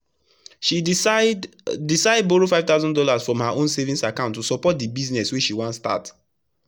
she decide decide borrow five thousand dollars from her own savings account to support the business wey she wan start.